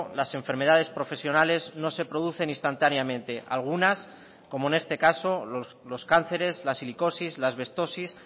las enfermedades profesionales no se producen instantáneamente algunas como en este caso los cánceres la silicosis la asbestosis